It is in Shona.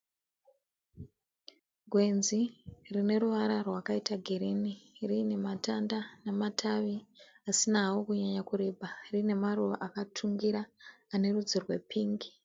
Gwenzi rine ruvara rwakaita girini riine matanda nematavi asina hawo kunyanya kureba rine nemaruva akatungira ane rudzi rwepingi.